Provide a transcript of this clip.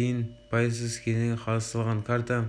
дейін пайызсыз кезеңі қарастырылған карта